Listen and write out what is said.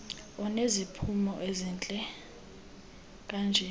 uneziphumo ezihle kanje